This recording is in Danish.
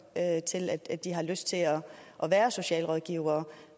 til at de har lyst til at være socialrådgivere